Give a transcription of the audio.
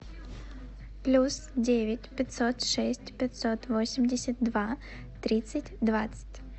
плюс девять пятьсот шесть пятьсот восемьдесят два тридцать двадцать